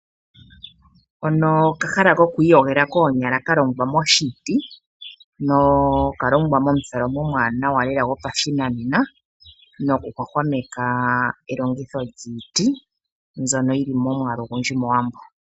Hano okahala kokwiiyogela koonyala ka longwa moshiti nokalongwa momutholomo omuwanawa lela gopashinanena nokuhwahwameka elongitho lyiiti mbyono yi li momwaalu ogundji mOwambo.